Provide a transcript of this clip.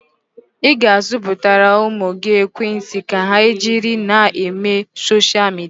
Ị ga-azụtara ụmụ gị ekwentị ka ha jiri na-eme soshal midia?